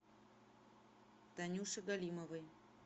танюше галимовой